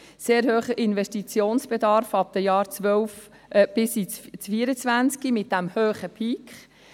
Sehr hoher Investitionsbedarf ab den Jahren 2012 bis 2024, mit diesem hohen Peak;